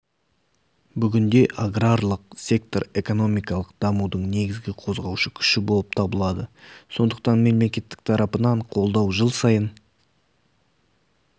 бүгінде аграрлық сектор экономикалық дамудың негізгі қозғаушы күші болып табылады сондықтан мемлекеттік тарапынан қолдау жыл сайын